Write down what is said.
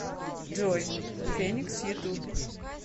джой феникс ютуб